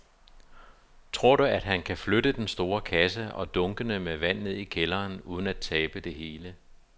Tror du, at han kan flytte den store kasse og dunkene med vand ned i kælderen uden at tabe det hele?